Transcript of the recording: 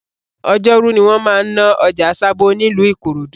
Ọjọ́rú ni wọ́n máa ń ná ọjà Sabo nílùú Ikorodu